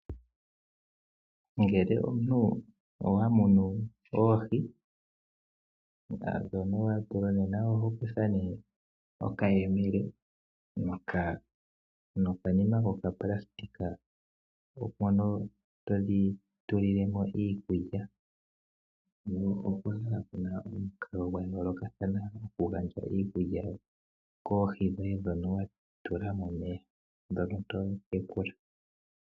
Ngele omuntu owa mono oohi, oho kutha ngaa nee okayele nokanima kokapulasitika mono todhi tulile mo iikulya, po opu na omikalo dha yoolokathana dhoku gandja iikulya koohi dhoye momeya ndhono to tekula.